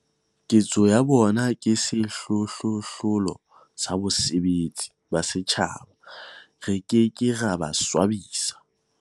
Ketso ya bona ke sehlohlolo sa bosebeletsi ba setjhaba. Re ke ke ra ba swabisa.